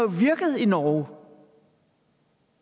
virket i norge